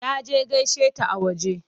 Ya je gaishe ta a waje.